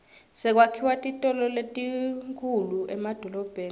sekwakhiwa titolo letinkhulu emadolobheni